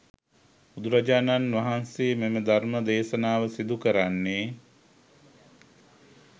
බුදුරජාණන් වහන්සේ මෙම ධර්ම දේශනාව සිදු කරන්නේ